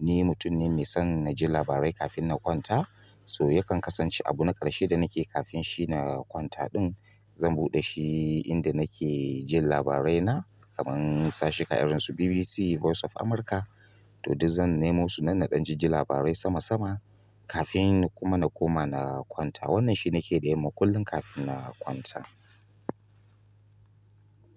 Ni mutum ne mai son na ji labarai kafin na kwanta, so yakan kasance abu na ƙarshe da nake kafin shi na kwanta ɗin zan buɗe shi inda nake jin labarai na, kamar su sashuka irin su BBC, voice of America. To duk zan nemo su nan na ɗan ji labarai sama-sama kafin kuma na koma na kwanta. Wannan shi nake da yamma kafin na kwata.